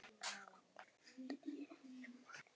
En sóttirðu um hana?